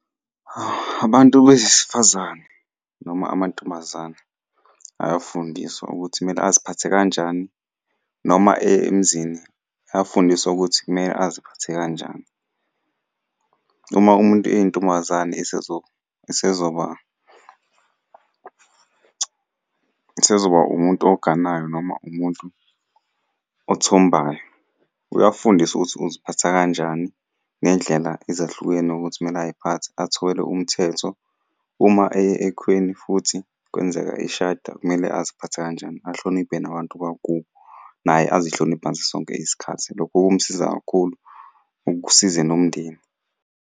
Abantu besifazane noma amantombazane ayafundiswa ukuthi kumele aziphathe kanjani noma eye emzini ayafundiswa ukuthi kumele aziphathe kanjani. Uma umuntu eyintombazane esezoba, esezoba umuntu oganayo noma umuntu othombayo, uyafundiswa ukuthi uziphatha kanjani ngendlela ezahlukene ukuthi kumele ay'phathe athobele umthetho. Uma eye ekhweni futhi kwenzeka eshada kumele aziphathe kanjani, ahloniphe nabantu bakubo, naye azihloniphe ngaso sonke isikhathi. Lokho komsiza kakhulu kusize nomndeni.